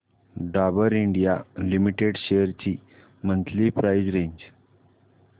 Dabur India limited shares ची monthly price range